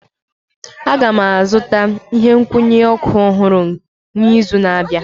Aga m azụta ihe nkwụnye ọkụ ọhụrụ n'izu na-abịa